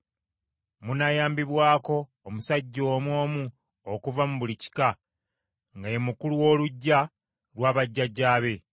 Munaayambibwako omusajja omu omu okuva mu buli kika, nga ye mukulu w’oluggya lwa bajjajjaabe.